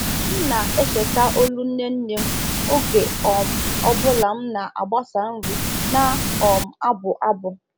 M na- echeta olu nne nne m oge um ọ bụla m na-agbasa nri na um abụ abụ.